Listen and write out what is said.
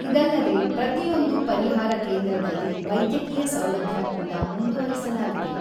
ಇದಲ್ಲದೇ ಪ್ರತಿಯೊಂದು ಪರಿಹಾರ ಕೇಂದ್ರದಲ್ಲಿ ವೈದ್ಯಕೀಯ ಸೌಲಭ್ಯ ಕೂಡ ಮುಂದುವರಿಸಲಾಗಿದೆ.